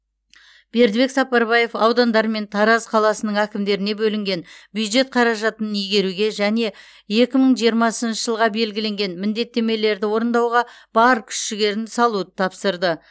бердібек сапарбаев аудандар мен тараз қаласының әкімдеріне бөлінген бюджет қаражатын игеруге және екі мың жиырмасыншы жылға белгіленген міндеттемелерді орындауға бар күш жігерді салуды тапсырды